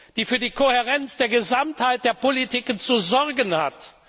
die für die Kohärenz der Gesamtheit der Politiken zu sorgen hat!